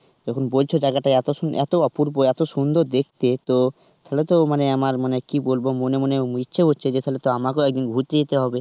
যখন বলছো জায়গায়টা এতো সুন এতো অপূর্ব, এতো সুন্দর দেখতে তো তাহলে তো আমার মানে কি বলব মনে মনে ইচ্ছা হচ্ছে তাহলে তো আমাকেও একদিন ঘুরতে যেতে হবে.